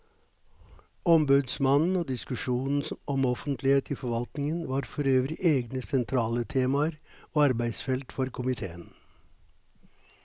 Ombudsmannen og diskusjonen om offentlighet i forvaltningen var forøvrig egne sentrale temaer og arbeidsfelt for komiteen.